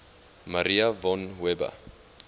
maria von weber